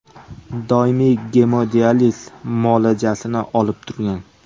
Doimiy gemodializ muolajasini olib turgan.